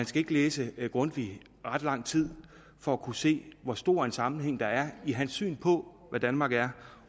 skal læse grundtvig ret lang tid for at kunne se hvor stor en sammenhæng der er i hans syn på hvad danmark er